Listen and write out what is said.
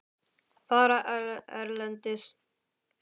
Fara erlendis?